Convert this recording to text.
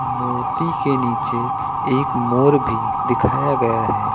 मूर्ति के नीचे एक मोर भी दिखाया गया है।